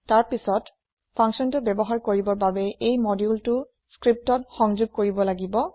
তাৰ পাছত functionটো ব্যৱহাৰ কৰিবৰ বাবে এই moduleটো লিপিত সংযোগ কৰিব লাগিব